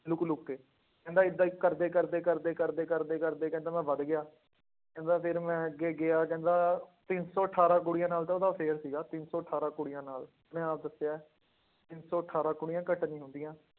Look ਲੁੱਕ ਕੇ ਕਹਿੰਦਾ ਏਦਾਂ ਹੀ ਕਰਦੇ ਕਰਦੇ ਕਰਦੇ ਕਰਦੇ ਕਰਦੇ ਕਰਦੇ ਕਹਿੰਦਾ ਮੈਂ ਵੱਧ ਗਿਆ, ਕਹਿੰਦਾ ਫਿਰ ਮੈਂ ਅੱਗੇ ਗਿਆ ਕਹਿੰਦਾ ਤਿੰਨ ਸੌ ਅਠਾਰਾਂ ਕੁੜੀਆਂ ਨਾਲ ਤਾਂ ਉਹਦਾ affair ਸੀਗਾ ਤਿੰਨ ਸੌ ਅਠਾਰਾਂ ਕੁੜੀਆਂ ਨਾਲ, ਉਹਨੇ ਆਪ ਦੱਸਿਆ ਹੈ, ਤਿੰਨ ਸੌ ਅਠਾਰਾਂ ਕੁੜੀਆਂ ਘੱਟ ਨੀ ਹੁੰਦੀਆਂ।